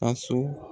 Ka so